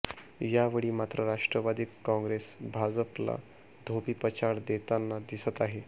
यावेळी मात्र राष्ट्रवादी काँगेस भाजपला धोबीपछाड देताना दिसत आहे